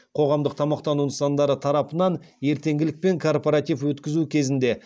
қоғамдық тамақтану нысандары тарапынан ертеңгілік пен корпоратив өткізу кезінде